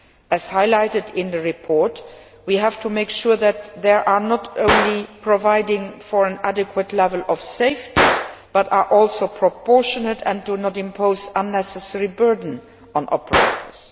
As highlighted in your report, we have to make sure that they are not only providing for an adequate level of safety, but are also proportionate and do not impose unnecessary burden on operators.